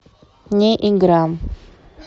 не игра